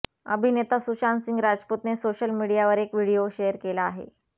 अभिनेता सुशांत सिंग राजपूतने सोशल मीडियावर एक व्हिडीओ शेअर केला आहे